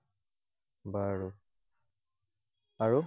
বাৰু। আৰু?